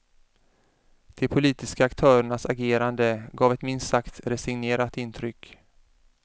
De politiska aktörernas agerande gav ett minst sagt resignerat intryck.